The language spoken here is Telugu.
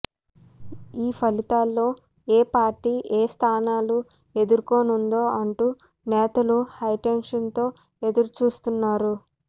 ఈ ఫలితాల్లో ఏ పార్టీ ఎన్ని స్థానాలు దక్కించుకోనుందో అంటూ నేతలు హైటెన్షన్తో ఎదురుచూస్తున్నారు